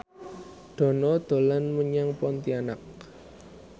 Dono dolan menyang Pontianak